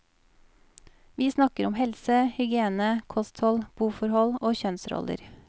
Vi snakker om helse, hygiene, kosthold, boforhold og kjønnsroller.